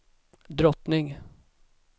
drottning